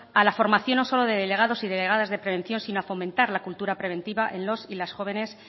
a la formación no solo de delegados y delegadas de prevención sino a fomentar la cultura preventiva en los y las jóvenes